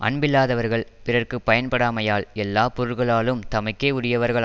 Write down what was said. அன்பில்லாதவர்கள் பிறர்க்கு பயன்படாமையால் எல்லா பொருள்களாலும் தமக்கே உரியவர்கள்